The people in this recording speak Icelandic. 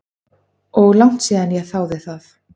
Og langt síðan ég þáði það.